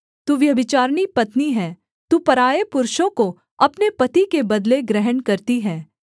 तू व्यभिचारिणी पत्नी है तू पराए पुरुषों को अपने पति के बदले ग्रहण करती है